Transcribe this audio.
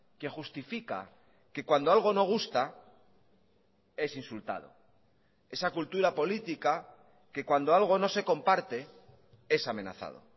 que justifica que cuando algo no gusta es insultado esa cultura política que cuando algo no se comparte es amenazado